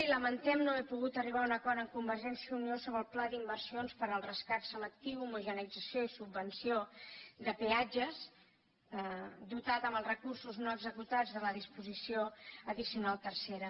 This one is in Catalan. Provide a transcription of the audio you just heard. i lamentem no haver pogut arribar a un acord amb convergència i unió sobre el pla d’inversions per al rescat selectiu homogeneïtzació i subvenció de peatges dotat amb els recursos no executats de la disposició addicional tercera